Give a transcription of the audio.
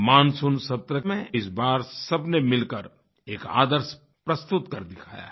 monsoon सत्र में इस बार सबने मिलकर एक आदर्श प्रस्तुत कर दिखाया है